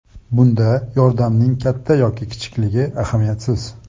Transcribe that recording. Bunda yordamning katta yoki kichikligi ahamiyatsiz.